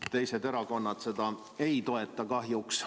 Teised erakonnad seda ei toeta kahjuks.